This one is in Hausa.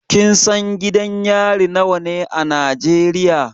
Kin san gidan yari nawa ne a Najeriya?